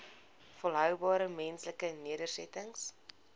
volhoubare menslike nedersettings